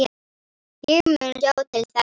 Ég mun sjá til þess.